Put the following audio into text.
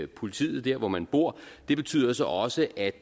politiet der hvor man bor det betyder så også at